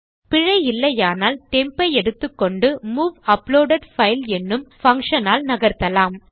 பிழை இல்லையானால் டெம்ப் ஐ எடுத்துக்கொண்டு மூவ் அப்லோடெட் பைல் என்னும் பங்ஷன் ஆல் நகர்த்தலாம்